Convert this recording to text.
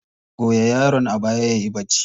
Goya yaron a baya yayi bacci.